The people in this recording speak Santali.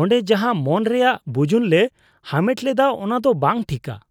ᱚᱰᱮᱸ ᱡᱟᱦᱟᱸ ᱢᱟᱹᱱ ᱨᱮᱭᱟᱜ ᱵᱩᱡᱩᱱ ᱞᱮ ᱦᱟᱢᱮᱴ ᱞᱮᱫᱟ ᱚᱱᱟᱫᱚ ᱵᱟᱝ ᱴᱷᱤᱠᱟ ᱾